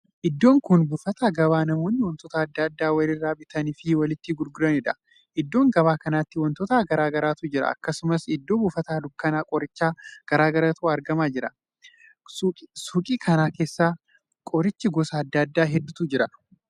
Iddoon kun bufata gabaa namoonni wantoota addaa addaa wali irraa bitanii fi walitti gurguraniidha. iddoo gabaa kanatti wantoota garaagaraatu jira. akkasumas iddoo buufata dukkanaa qoricha garaagaratu argamaa jira. suukii kana keessa qoricha gosa addaa addaa hedduutu jira.